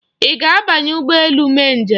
Ị ga-abanye ụgbọ elu mee njem?